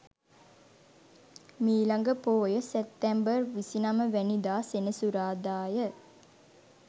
මීළඟ පෝය සැප්තැම්බර් 29 වැනි දා සෙනසුරාදා ය.